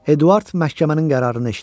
Eduard məhkəmənin qərarını eşitdi.